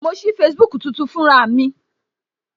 Mo sí Facebook tuntun fún ra mi